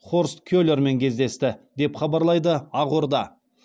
хорст келермен кездесті деп хабарлайды ақорда